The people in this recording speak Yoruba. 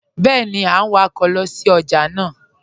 Bẹẹni a n wakọ sí ọjà naa